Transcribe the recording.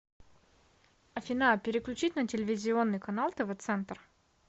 афина переключить на телевизионный канал тв центр